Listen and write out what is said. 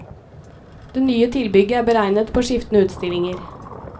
Det nye tilbygget er beregnet på skiftende utstillinger.